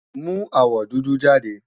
Mú awọ dúdú jáde!